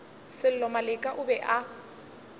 sello maleka o be a